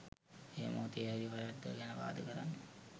ඒ මොහොතේ හරි වැරැද්ද ගැන වාද කරන්න